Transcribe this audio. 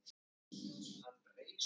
Mig setti hljóðan.